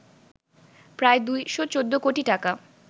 প্রায় ২১৪ কোটি টাকা